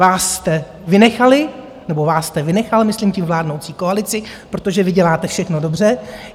Vás jste vynechali - nebo vás jste vynechal, myslím tím vládnoucí koalici, protože vy děláte všechno dobře.